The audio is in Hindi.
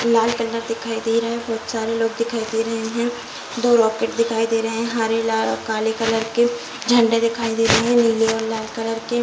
लाल कलर दिखाई दे रहा है | बहुत सारे लोग दिखाई दे रहे हैं । दो रोकेट दिखाई दे रहे हैं । हरे लाल और काले कलर के झंडे दिखाई दे रहे हैं । नीले और लाल कलर के --